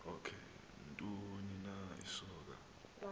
ntoni na isonka